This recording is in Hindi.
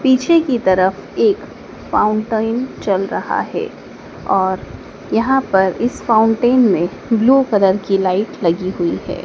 पीछे की तरफ एक फाउंटेन चल रहा है और यहाँ पर इस फाउंटेन में ब्लू कलर की लाइट लगी हुई है।